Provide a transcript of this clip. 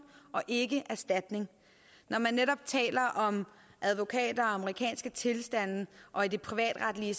og ikke erstatning når man netop taler om advokater og amerikanske tilstande og det privatretlige